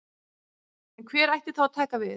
En hver ætti þá að taka við?